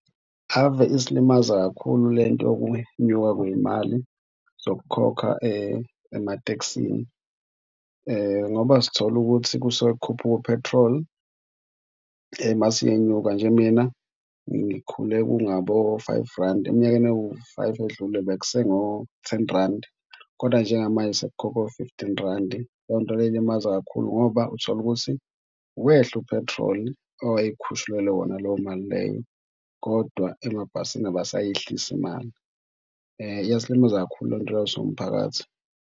Ave isilimaza kakhulu le nto yokunyuka kwezimali zokukhokha ematekisini ngoba sithola ukuthi kusuke kukhuphuke uphethroli mase iyenyuka nje. Mina ngikhule, kungabo-five randi eminyakeni ewu-five edlule, bekuse ngo-ten randi kodwa njengamanje sekukhokhwa u-fifteen randi. Leyo nto leyo ilimaza kakhulu ngoba uthola ukuthi wehla upethroli owayikhushulelwe wona leyo mali leyo kodwa emabhasini abesayehlisi imali. Iyasilimaza kakhulu le nto leyo siwumphakathi.